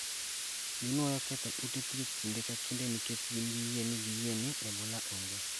ginuoyo ketho ute thieth kinde ka kinde nikech gin gi yie ni giyie ni Ebola onge